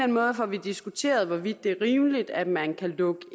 måde får vi diskuteret hvorvidt det er rimeligt at man kan lukke